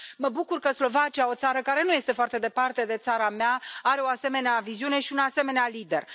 Mă bucur că Slovacia, o țară care nu este foarte departe de țara mea, are o asemenea viziune și un asemenea lider.